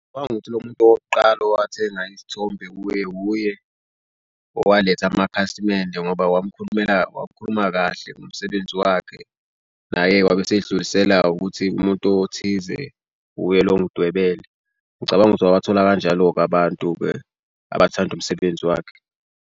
Ngokuthi lo muntu owokuqala owathathenga isithombe uye uye owaletha amakhasimende ngoba wakhuluma kahle ngomsebenzi wakhe. Naye-ke wabesebedlulisela ukuthi umuntu othize uye lo ongidwebele. Ngicabanga ukuthi wabathola kanjalo-ke abantu-ke abathanda umsebenzi wakhe.